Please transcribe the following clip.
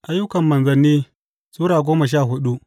Ayyukan Manzanni Sura goma sha hudu